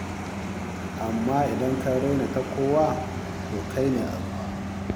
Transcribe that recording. Amma idan ka raina ta kuwa, to kai ne a ruwa.